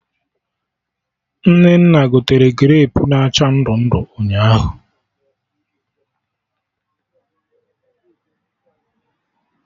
Nnenna gotere grapu na acha ndụ ndụ ụnyaahụ